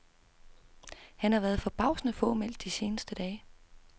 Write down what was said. Han har været forbavsende fåmælt de seneste dage.